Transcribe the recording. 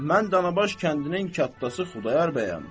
Mən Danabaş kəndinin qatdası Xudayar bəyəm.